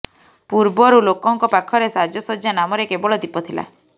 ପୂର୍ବରୁ ଲୋକଙ୍କ ପାଖରେ ସାଜସଜ୍ଜା ନାମରେ କେବଳ ଦୀପ ଥିଲା